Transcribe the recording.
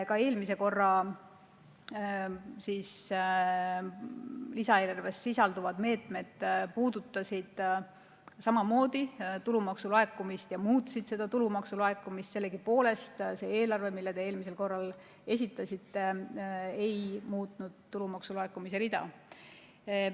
Ka eelmises lisaeelarves sisaldunud meetmed puudutasid tulumaksu laekumist ja muutsid seda tulumaksu laekumist, aga sellegipoolest eelarve, mille te eelmisel korral esitasite, ei muutnud tulumaksu laekumise rida.